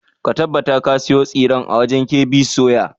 Ka tabbata ka sayo tsiren a wajen KB soya!